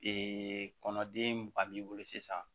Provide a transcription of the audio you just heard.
kɔnɔden ba b'i bolo sisan